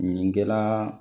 Ɲɛnɛ kɛla